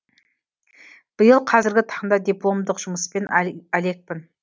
биыл қазіргі таңда дипломдық жұмыспен әлекпін